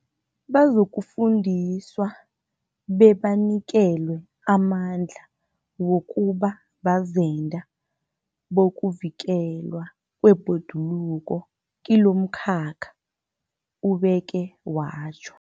Bazokufundiswa bebanikelwe amandla wokuba bazenda bokuvikelwa kwebhoduluko kilomkhakha, ubeke watjho.